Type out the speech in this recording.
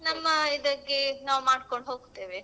ನಮ್ಮ ಇದಕ್ಕೆ ನಾವ್ ಮಾಡ್ಕೊಂಡು ಹೋಗ್ತೇವೆ.